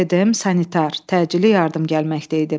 PDM sanitar təcili yardım gəlməkdə idi.